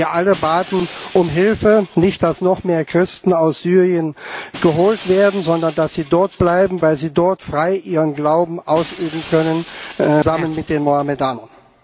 Und sie alle baten um Hilfe nicht dass noch mehr Christen aus Syrien geholt werden, sondern dass sie dort bleiben, weil sie dort frei ihren Glauben ausüben können, zusammen mit den Mohammedanern.